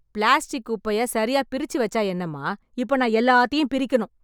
Plastic குப்பைய சரியா பிரிச்சு வச்சா என்னம்மா? இப்போ நான் எல்லாத்தையும் பிரிக்கணும்.